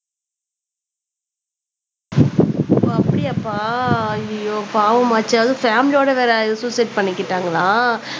ஓ அப்படியாப்பா அய்யய்யோ பாவமாச்சே அதுவும் பேமிலியோட வேற சூசைட் பண்ணிக்கிட்டாங்களா